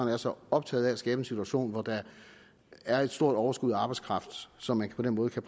er så optaget af at skabe en situation hvor der er et stort overskud af arbejdskraft så man på den måde kan